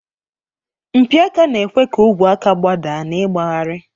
Mpi aka na-ekwe ka ogwe aka gbadaa na ịgbagharị.